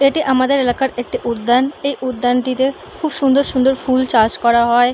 এটি আমাদের এলাকার একটি উদ্যান এই উদ্যানটিতে খুব সুন্দর সুন্দর ফুল চাষ করা হয়।